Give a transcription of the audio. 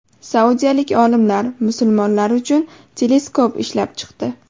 Saudiyalik olimlar musulmonlar uchun teleskop ishlab chiqdi.